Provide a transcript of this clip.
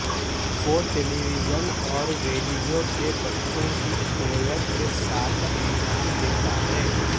وہ television اور radio کے بچوں کی کوئر کے ساتھ انجام دیتا ہے